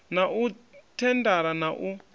na u thendara na u